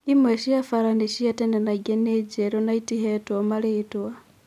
Imwe cia bara nĩ cia tene na ingĩ nĩ njerũ na itihetwo marĩtwa.